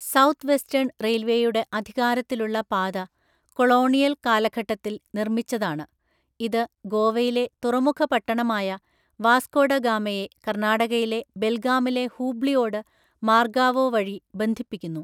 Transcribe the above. South western റെയിൽവേയുടെ അധികാരത്തിലുള്ള പാത കൊളോണിയൽ കാലഘട്ടത്തിൽ നിർമ്മിച്ചതാണ്, ഇത് ഗോവയിലെ തുറമുഖ പട്ടണമായ വാസ്കോഡ ഗാമയെ കർണാടകയിലെ ബെൽഗാമിലെ ഹൂബ്ലിയോട് മാർഗാവോ വഴി ബന്ധിപ്പിക്കുന്നു.